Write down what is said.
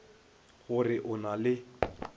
go re o na le